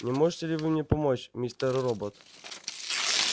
не можете ли вы мне помочь мистер робот